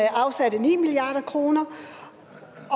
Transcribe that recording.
afsatte ni milliard kroner